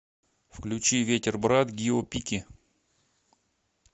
включи ветер брат гио пики